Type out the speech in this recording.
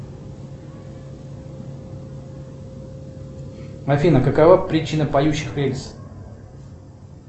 афина какова причина поющих рельс